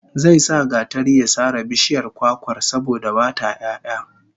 Zai sa gatari ya sare bishiyar kwakwar, saboda ba ta 'ya'ya